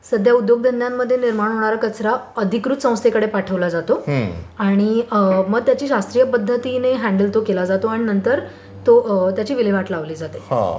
सध्या उद्योगधंद्यांकडे निर्माण होणारा कचरा अधिकृत संस्थेकडे पाठवला जातो आणि मग त्याची शास्त्रीय पध्दतीने हॅंडल तो केला जातो आणि नंतर तो त्याची विल्हेवाट लावली जाते.